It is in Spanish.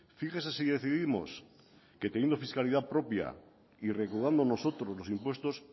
fíjese si decidimos que teniendo fiscalidad propia y recaudando nosotros los impuestos